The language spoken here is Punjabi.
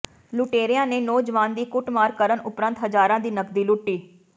ਲੁਟੇਰਿਆਂ ਨੇ ਨੌਜਵਾਨ ਦੀ ਕੁੱਟਮਾਰ ਕਰਨ ਉਪਰੰਤ ਹਜ਼ਾਰਾਂ ਦੀ ਨਕਦੀ ਲੁੱਟੀ